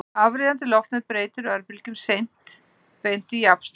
Afriðandi loftnet breytir örbylgjum beint í jafnstraum.